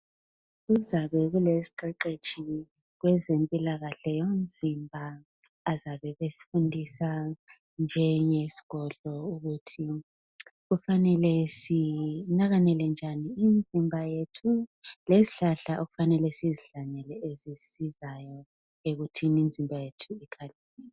Kuzabe kule siqeqetshi kwezempilakahle umzimba bazabe besifundisa kwenye isigodlo ukuthi kufanele sinakalele njani imzimba yethu lezihlahla okumele sizihlanyele ezisizayo ekuthini imzimba yethu.